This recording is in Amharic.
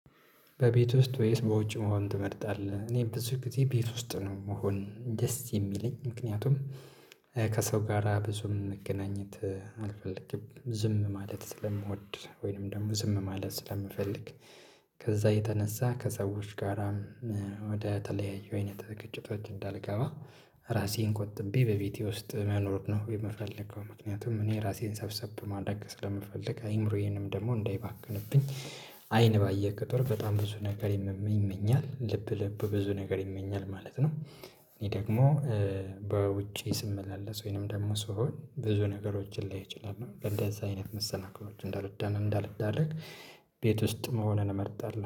በቤት ውስጥ ወይስ በውጭ መሆን ትመርጣለህ? እኔ ብዙ ጊዜ ቤት ውስጥ ነው መሆን ደስ የሚለኝ ምክንያቱም ከሰው ጋራ ብዙም መገናኘት አልፈልግም ዝም ማለት ስለምወድ ወይንም ደግሞ ዝም ማለት ስለምፈልግ ከዛ የተነሳ ከሰዎች ጋራም ወደ ተለያዩ አይነት ግጭቶች እንዳልገባ ራሴን ቁጥቤ በቤቴ ውስጥ መኖር ነው የምፈልገው ምክንያቱም እኔ ራሴን ሰብሰብ ማድረግ ስለምፈልግ አዕምሮዬንም ደግሞ እንዳይባክንብኝ አይን ባየ ቁጥር በጣም ብዙ ነገር ይመኛል ልብ ልብ ብዙ ነገር ይመኛል ማለት ነው እህ ደግሞ በውጪ ስመላለስ ወይንም ደግሞ ስሆን ብዙ ነገሮችን ላይ እችላለሁ እንደዛ አይነት መሰናክሎች እንዳልደ እንዳልዳረግ ቤት ውስጥ መሆንን እመርጣለሁ